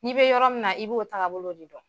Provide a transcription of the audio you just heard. N'i be yɔrɔ min na, i b'o taabolo de kɛ .